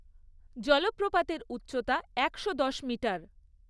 জলপ্রপাতের উচ্চতা একশো দশ মিটার।